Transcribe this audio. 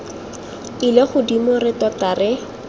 ile godimo re tota re